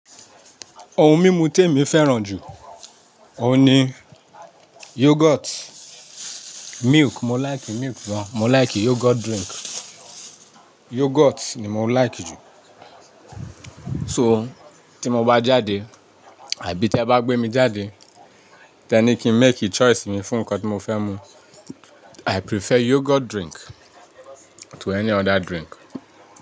Ohun mímu tèmi fẹ́ràn jù, òun ni yoghurt, milk. Mo like milk gan. Mo like yoghurt drink. Yoghurt ni mo like jù. So tí mo bá jáde àbí tí ẹ bá gbé mi jáde, tẹ ní kí n make choice mi fún nǹkan tí mo fẹ́ mu. I prefer yoghurt drink to any other drink.